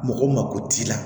Mɔgɔ mako t'i la